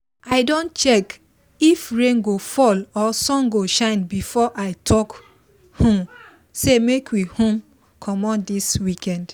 i don check if rain go fall or sun go shine before i talk um say make we um commot this weekend